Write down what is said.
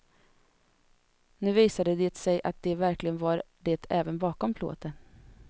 Nu visade det sig att de verkligen var det även bakom plåten.